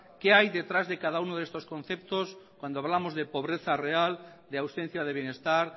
qué hay detrás de cada uno de estos conceptos cuando hablamos de pobreza real de ausencia de bienestar